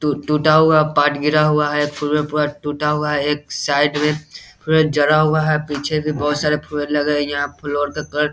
to टुटा हुआ है पार्ट गिरा हुआ है टुटा हुआ है एक साइड में पूरा जला हुआ है पीछे भी बहुत सारे फोर व्हीलर लगे हैं यहाँ का कलर --